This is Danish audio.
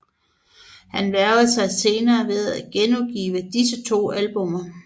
Han vægrede sig senere ved at genudgive disse to albummer